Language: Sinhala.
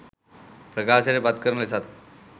ප්‍රකාශයට පත්කරන ලෙසත්